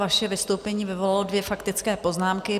Vaše vystoupení vyvolalo dvě faktické poznámky.